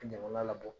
Jamana labɔ